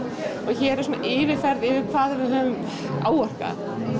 hér er svona yfirferð yfir hvað við höfum áorkað